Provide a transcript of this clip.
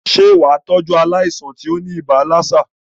Sé wàá tọ́jú aláìsàn tí óní ibà lassa?